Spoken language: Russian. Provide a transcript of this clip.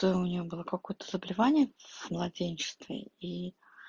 то у нее было какое-то заболевание в младенчестве и